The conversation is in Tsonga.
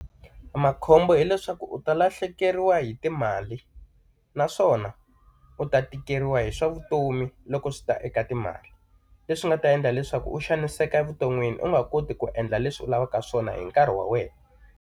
Makhombo hileswaku u ta lahlekeriwa hi timali naswona, u ta tikeriwa hi swa vutomi loko swi ta eka timali. Leswi nga ta endla leswaku u xaniseka evuton'wini u nga koti ku endla leswi u lavaka swona hi nkarhi wa wena.